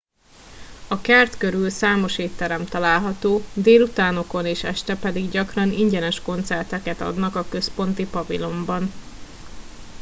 a kert körül számos étterem található délutánokon és este pedig gyakran ingyenes koncerteket adnak a központi pavilonban